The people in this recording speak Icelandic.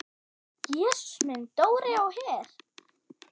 Jesús minn, Dóri á Her!